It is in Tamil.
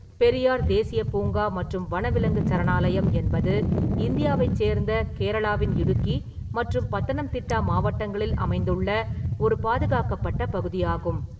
பெரியார் தேசிய பூங்கா மற்றும் வனவிலங்குச் சரணாலயம் என்பது இந்தியாவைச் சேர்ந்த கேரளாவின் இடுக்கி மற்றும் பத்தனம்திட்டா மாவட்டங்களில் அமைந்துள்ள ஒரு பாதுகாக்கப்பட்ட பகுதியாகும்.